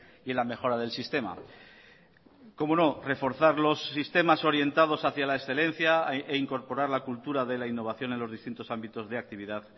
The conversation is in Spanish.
y en la mejora del sistema cómo no reforzar los sistemas orientados hacía la excelencia e incorporar la cultura de la innovación en los distintos ámbitos de actividad